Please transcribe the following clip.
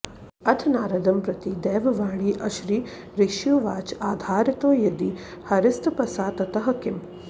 अथ नारदं प्रति दैववाणी अशरीरिष्युवाच आधारितो यदि हरिस्तपसा ततः किम्